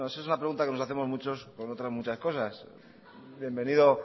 bueno eso es una pregunta que nos hacemos muchos con otras muchas cosas bienvenido